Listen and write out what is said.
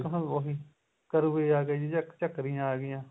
ਉਹੀ ਕਰੂਏ ਆ ਗਏ ਜੀ ਝੱਕਰੀਆਂ ਆ ਗਈਆਂ